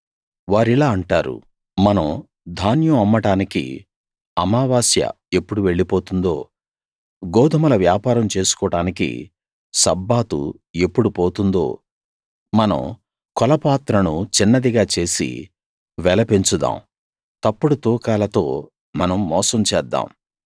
వారిలా అంటారు మనం ధాన్యం అమ్మడానికి అమావాస్య ఎప్పుడు వెళ్ళిపోతుందో గోదుమల వ్యాపారం చేసుకోడానికి సబ్బాతు ఎప్పుడు పోతుందో మనం కొలపాత్రను చిన్నదిగా చేసి వెల పెంచుదాం తప్పుడు తూకాలతో మనం మోసం చేద్దాం